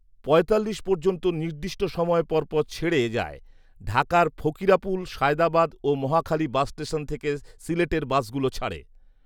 পঁয়তাল্লিশ পর্যন্ত নির্দিষ্ট সময় পরপর ছেড়ে যায়৷ঢাকার ফকিরাপুল, সায়দাবাদ ও মহাখালী বাস স্টেশন থেকে সিলেটের বাসগুলো ছাড়ে